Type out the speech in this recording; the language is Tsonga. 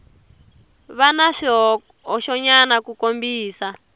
va na swihoxonyana ku kombisa